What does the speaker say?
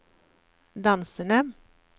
dansende